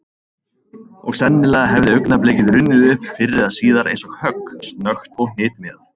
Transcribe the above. Og sennilega hefði augnablikið runnið upp fyrr eða síðar eins og högg, snöggt og hnitmiðað.